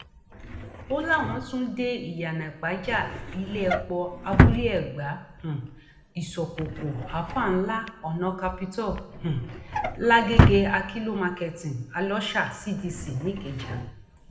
ó láwọn tún dé iyenàìpájà iléẹpọ abúlé ẹgbà um ìsọkòkò alfa ńlá ọnà capitol um làgẹgẹ àkìlọ marketing alọsà cdc nìkẹjà